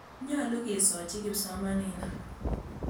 Nyalu ke sochi kipsomaninik.